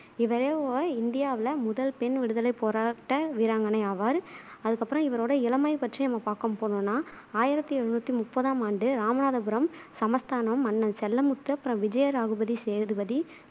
இவரே ஒ இந்தியாவுல முதல் பெண் விடுதலைப் போராட்ட வீராங்கனை ஆவார் அதுக்கப்பறம் இவரோட இளமை பற்றி நம்ம பாக்க போனோம்னா ஆயிரத்தி எழுநூத்தி முப்பதாம் ஆண்டு, இராமநாதபுரம் சமஸ்தானம் மன்னன் செல்லமுத்து அப்பறம் விஜய சேதுபதி